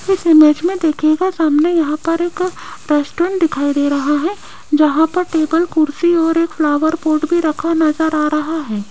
इस इमेज़ में देखिएगा सामने यहां पर एक रेस्टोरेंट दिखाई दे रहा है जहां पर टेबल कुर्सी और एक फ्लावर पॉट भी रखा नजर आ रहा है।